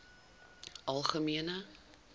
algemene